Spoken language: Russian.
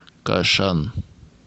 кашан